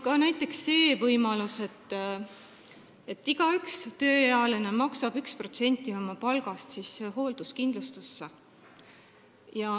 Ka see on võimalus, et iga tööealine maksab 1% oma palgast hoolduskindlustusse.